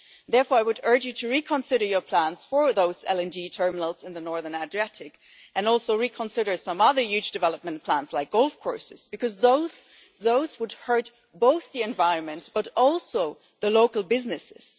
Therefore, I would urge you to reconsider your plans for those LNG terminals in the northern Adriatic, and also to reconsider some other huge development plans like golf courses because those would hurt not only the environment, but also local businesses.